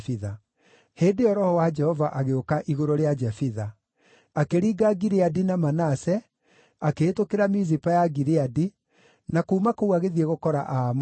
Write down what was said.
Hĩndĩ ĩyo Roho wa Jehova agĩũka igũrũ rĩa Jefitha. Akĩringa Gileadi na Manase, akĩhĩtũkĩra Mizipa ya Gileadi, na kuuma kũu agĩthiĩ gũkora Aamoni.